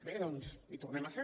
bé doncs hi tornem a ser